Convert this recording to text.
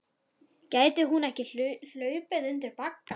Gæti hún ekki hlaupið undir bagga?